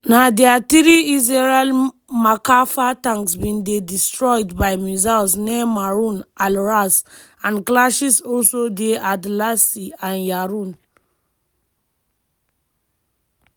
na dia three israeli merkava tanks bin dey destroyed by missiles near maroun al-ras and clashes also dey adalsseh and yaroun.